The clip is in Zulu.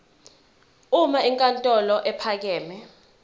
uma inkantolo ephakeme